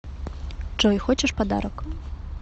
джой хочешь подарок